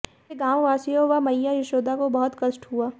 इससे गांववासियों व मैय्या यशोदा को बहुत कष्ट हुआ